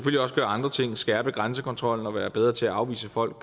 også gøre andre ting skærpe grænsekontrollen og være bedre til at afvise folk